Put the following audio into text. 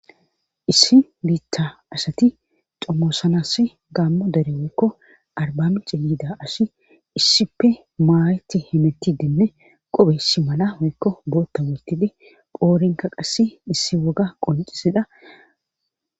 Issi biitha asati xomoosanasi gaammo dere oykko arbamice yiida asi issippe maayeti hemetidenne qophe si mala hoykko bootta woottide phoorinka qassi issi woga qoncisida.